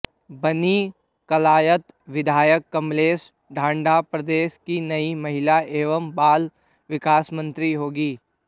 बनीं कलायत विधायक कमलेश ढांडा प्रदेश की नयी महिला एवं बाल विकास मंत्री होंगी